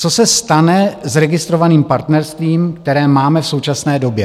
Co se stane s registrovaným partnerstvím, které máme v současné době?